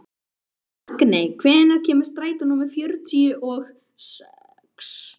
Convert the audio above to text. Magney, hvenær kemur strætó númer fjörutíu og sex?